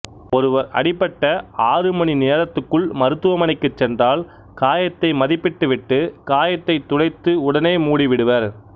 ஒருவர் அடிபட்ட ஆறுமணி நேரத்துக்குள் மருத்துவமனைக்குச் சென்றால் காயத்தை மதிப்பிட்டு விட்டுக் காயத்தைத் துடைத்து உடனே மூடிவிடுவர்